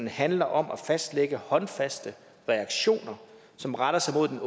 handler om at fastlægge håndfaste reaktioner som retter sig mod den